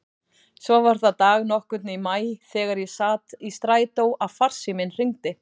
Svo var það dag nokkurn í maí þegar ég sat í strætó að farsíminn hringdi.